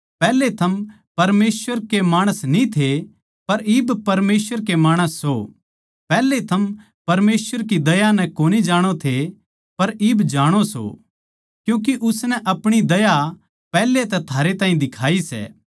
पैहले थम परमेसवर के माणस न्ही थे पर इब परमेसवर के माणस सो पैहले थम परमेसवर की दया नै कोनी जाणो थे पर इब जाणो सों क्यूँके उसनै अपणी दया पैहल्या तै थारै ताहीं दिखाई सै